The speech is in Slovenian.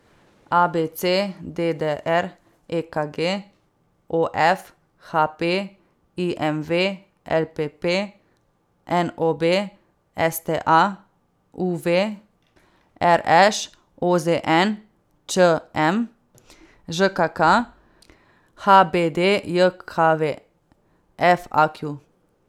A B C; D D R; E K G; O F; H P; I M V; L P P; N O B; S T A; U V; R Š; O Z N; Č M; Ž K K; H B D J K V; F A Q.